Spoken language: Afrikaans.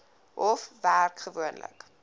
hof werk gewoonlik